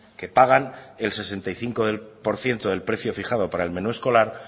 que pagan el sesenta y cinco por ciento del precio fijado para el menú escolar